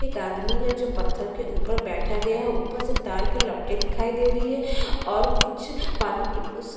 एक आदमी है जो पत्थर के ऊपर बैठा गया है ऊपर से तार की लपटे दिखाई दे रही है और कुछ पानी के उस --